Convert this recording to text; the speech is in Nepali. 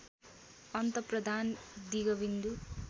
अन्त प्रधान दिगविन्दु